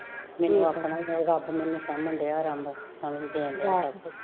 ਮੈਨੂੰ ਆਪਣਾ ਈ ਰੱਬ ਸਾਂਭਣ ਡਿਆ ਰਬ ਸਮਜਦੇ ਆ ਜਿਹਨੂੰ ਸਬ